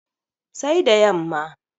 sai da yamma